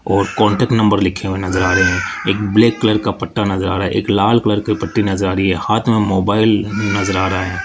और contact number लिखे हुए नजर आ रहे है एक ब्लैक कलर का पट्टा नजर आ रहा है एक लाल कलर की पट्टी नजर आ रही है हाथ मे मोबाइल नजर आ रहा है।